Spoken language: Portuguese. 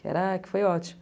Caraca, foi ótimo.